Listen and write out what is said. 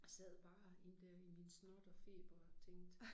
Sad bare i der i min snot og feber og tænkte